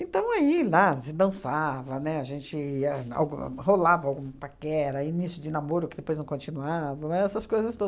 Então aí lá se dançava, né, a gente ia algu rolava alguma paquera, início de namoro, que depois não continuava, eram essas coisas todas.